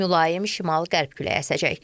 Mülayim şimal-qərb küləyi əsəcək.